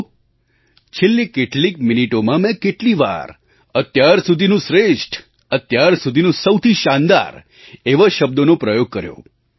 જુઓ છેલ્લી કેટલીક મિનિટોમાં મેં કેટલી વાર અત્યાર સુધીનું શ્રેષ્ઠ અત્યાર સુધીનું સૌથી શાનદાર એવા શબ્દોનો પ્રયોગ કર્યો